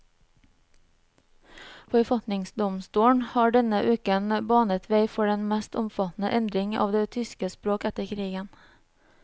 Forfatningsdomstolen har denne uken banet vei for den mest omfattende endring av det tyske språk etter krigen.